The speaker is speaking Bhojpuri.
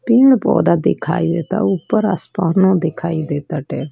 पेड़ पौधा दिखाई देता उपर आसमान मे दिखाई देखत है।